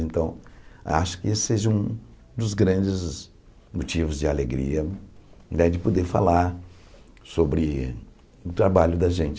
Então, acho que esse seja um dos grandes motivos de alegria de poder falar sobre o trabalho da gente.